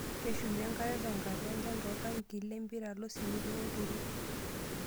Keshumi enkare tenkata enchan tooltankii le mpira, losimiti, olturot.